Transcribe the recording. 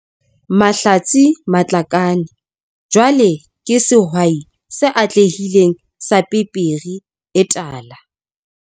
Mahlatse Matlakane jwale ke sehwai se atlehileng sa pepere e tala.